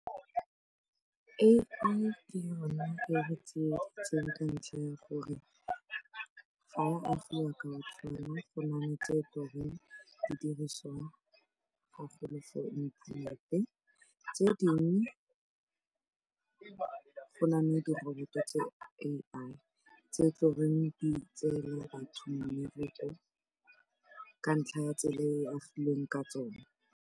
A_I ke yona e re tsieditseng ka ntlha ya gore ga e a agiwa ka go na le tse di dirisiwang ga golo for internet-e, tse dingwe go na le diroboto tse A_I tse tsone di tseelang batho mmereko ka ntlha ya tsela e e agilweng ka tsone.